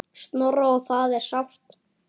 Snorra og það er sárt.